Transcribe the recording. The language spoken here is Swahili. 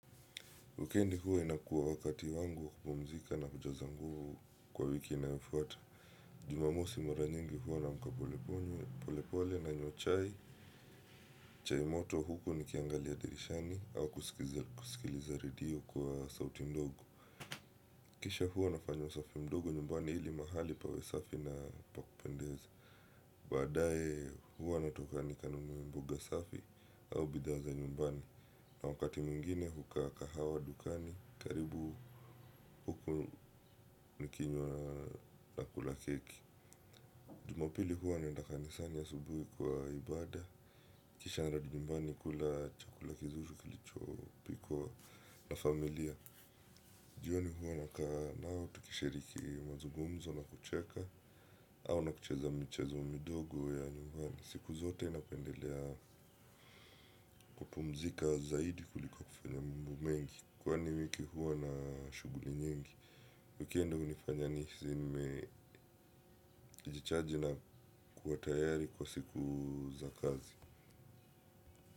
Wekendi huwa inakuwa wakati wangu wa kupumzika na kujazangu kwa wiki inaifuata. Jumamosi mara nyingi huwa namkapole pole, polepole nanywa chai. Chai moto huku nikiangalia dirishani au kusikiliza redio kwa sauti ndogo. Kisha huwa nafanya usafi mdogo nyumbani hili mahali pawe safi na pa kupendeza. Baadae huwa natoka ni kanunue mboga safi au bidhaa za nyumbani. Na wakati mingine hukaa kahawa dukani. Karibu huku nikinywa na kula keki. Jumapili huwa naenda kanisani asubuhi kwa ibada. Kisha narudi nyumbani kula chakula kizur kilicho pikwa na familia. Jioni huwa nakaa nao tukishiriki mazugumzo na kucheka au na kucheza michezo midogo ya nyumbani. Siku zote napendelea kupumzika zaidi kuliko kufanya mambo mengi. Kwani wiki huwa na shuguli nyingi wekindi unifanya niseme jichaji na kuwa tayari kwa siku za kazi.